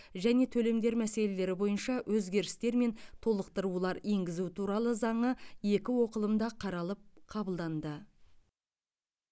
және төлемдер мәселелері бойынша өзгерістер мен толықтырулар енгізу туралы заңы екі оқылымда қаралып қабылданды